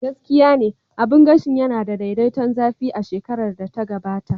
Gaskiya ne, abun gashin yana da daidaiton zafi a cikin shekarar da ta gabata.